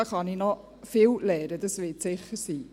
«Hier kann ich noch viel lernen, das wird sicher so sein.